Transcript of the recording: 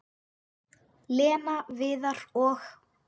Lena, Viðar og